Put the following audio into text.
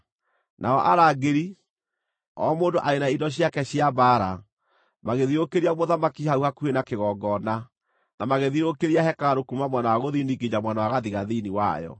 Nao arangĩri, o mũndũ arĩ na indo ciake cia mbaara, magĩthiũrũrũkĩria mũthamaki hau hakuhĩ na kĩgongona, na magĩthiũrũrũkĩria hekarũ kuuma mwena wa gũthini nginya mwena wa gathigathini wayo.